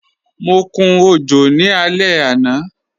Mọ kún ojò ní alẹ̀ ana.